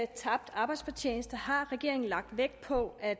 tabt arbejdsfortjeneste har regeringen lagt vægt på at